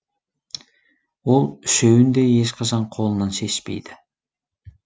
ол үшеуін де ешқашан қолынан шешпейді